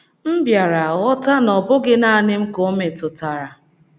*“ M bịara ghọta na ọ bụghị nanị m ka o metụtara.